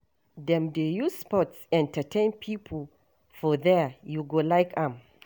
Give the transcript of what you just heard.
Dem dey use sports entertain pipo for there, you go like am.